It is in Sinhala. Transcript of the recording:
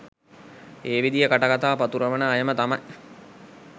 ඒ විදියෙ කටකතා පතුරුවන අයම තමයි.